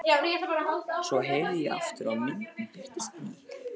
Svo herði ég aftur og myndin birtist á ný.